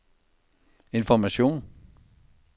information